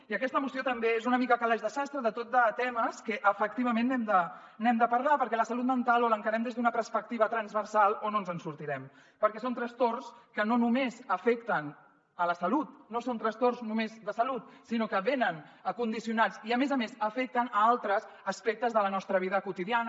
i aquesta moció també és una mica calaix de sastre de tot de temes que efectivament n’hem de parlar perquè la salut mental o l’encarem des d’una perspectiva transversal o no ens en sortirem perquè són trastorns que no només afecten la salut no són trastorns només de salut sinó que venen condicionats i a més a més afecten altres aspectes de la nostra vida quotidiana